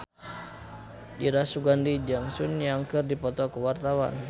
Dira Sugandi jeung Sun Yang keur dipoto ku wartawan